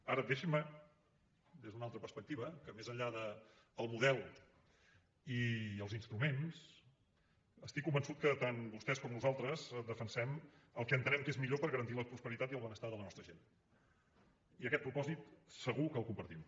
ara deixin me des d’una altra perspectiva que més enllà del model i els instruments estic convençut que tant vostès com nosaltres defensem el que entenem que és millor per garantir la prosperitat i el benestar de la nostra gent i aquest propòsit segur que el compartim